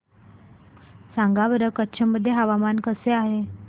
सांगा बरं कच्छ मध्ये हवामान कसे आहे